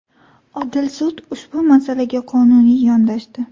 Odil sud ushbu masalaga qonuniy yondashdi.